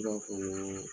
I b'a fɔ ŋaa